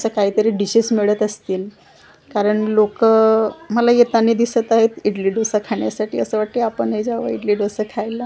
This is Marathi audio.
अशा काहीतरी डिशेस मिळत असतील कारण लोकं मला येतानी दिसत आहेत इडली डोसा खाण्यासाठी असं वाटतंय आपणही जावं इडली डोसा खायला.